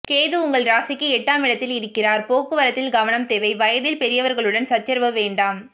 கேது உங்கள் ராசிக்கு எட்டாம் இடத்தில் இருக்கிறார் போக்குவரத்தில் கவனம் தேவை வயதில் பெரியவர்களுடன் சச்சரவு வேண்டாம்